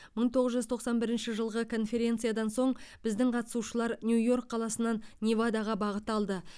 мың тоғыз жүз тоқсан бірінші жылғы конференциядан соң біздің қатысушылар нью йорк қаласынан невадаға бағыт алды